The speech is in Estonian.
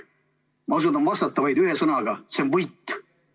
Ma oskan vastata vaid ühe sõnaga: see on võit.